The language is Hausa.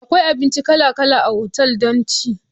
Akwai abinci kala kala a otal don ci.